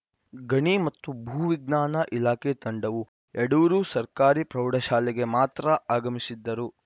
ಗಣಿ ಮತ್ತು ಭೂ ವಿಜ್ಞಾನ ಇಲಾಖೆ ತಂಡವು ಯಡೂರು ಸರ್ಕಾರಿ ಪ್ರೌಢಶಾಲೆಗೆ ಮಾತ್ರ ಆಗಮಿಸಿದ್ದರು